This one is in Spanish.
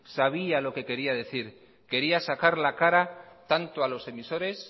sabía lo que quería decir quería sacar la cara tanto a los emisores